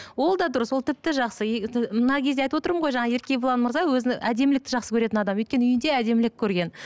ол да дұрыс ол тіпті жақсы мына кезде айтып отырмын ғой жаңа еркебұлан мырза өзін әдемілікті жақсы көретін адам өйткені үйде әдемілік көрген